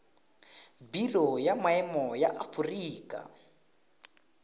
biro ya maemo ya aforika